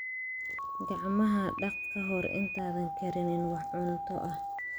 Gacmaha dhaq ka hor intaadan karinin wax cunto ah.